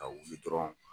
Ka wuli dɔrɔn